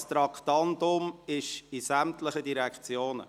Dieses Traktandum betrifft sämtliche Direktionen.